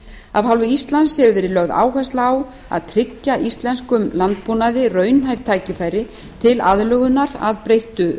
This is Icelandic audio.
af hálfu íslands hefur verið lögð áhersla á að tryggja íslenskum landbúnaði raunhæf tækifæri til aðlögunar að breyttu